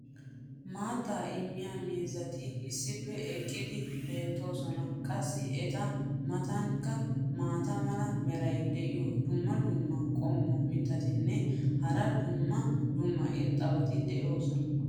maattaa immiya miizzati issippe eeqqidi beetoosona. qassi eta matankka maata mala meray diyo dumma dumma qommo mitattinne hara dumma dumma irxxabati de'oosona.